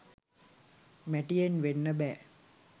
මැටියෙන් වෙන්න බෑ